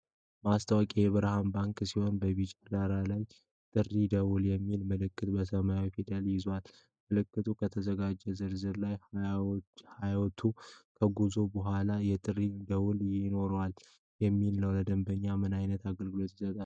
ማስታወቂያ የብርሃን ባንክ ሲሆን በቢጫ ዳራ ላይ "የጥሪ ደወል" የሚል መልእክት በሰማያዊ ፊደላት ይዟል። መልእክቱ "ከተዘጋጀው ዝርዝር ላይ 20ቱን ከዘጉ በኋላ የጥሪ ደውል ይኖረዎታል!" የሚል ነው። ለደንበኞች ምን ዓይነት አገልግሎት ይሰጣል?